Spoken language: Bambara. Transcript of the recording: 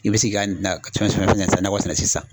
I bɛ se k'a na nakɔ sɛnɛ sisan